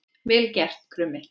Vel gert, Krummi!